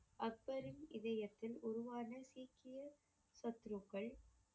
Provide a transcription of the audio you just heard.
அக்பரின் இதயத்தில் உருவான சீக்கிய